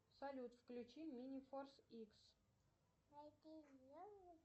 салют включи мини форс икс